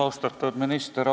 Austatud minister!